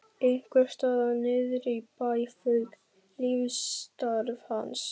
Einhvers staðar niðri í bæ fauk lífsstarf hans.